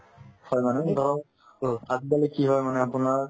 হয় মানে ধৰক আজিকালি কি হয় মানে আপোনাৰ